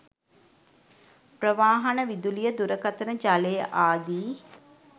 ප්‍රවාහන, විදුලිය, දුරකථන, ජලය ආදී